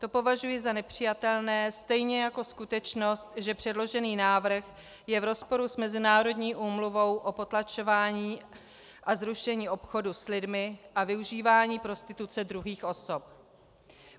To považuji za nepřijatelné, stejně jako skutečnost, že předložený návrh je v rozporu s mezinárodní Úmluvou o potlačování a zrušení obchodu s lidmi a využívání prostituce druhých osob.